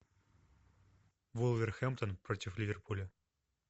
вулверхэмптон против ливерпуля